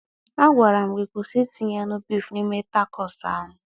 A gwaram gi kwụsị itinye anụ bif n'ime takos ahụ